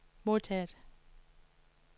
modtaget